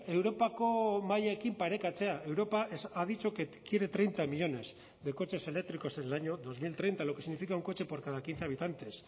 europako mailekin parekatzea europa ha dicho que quiere treinta millónes de coches eléctricos en el año dos mil treinta lo que significa un coche por cada quince habitantes